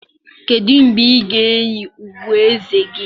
Kedu mgbe ị ga-eyi okpueze gị?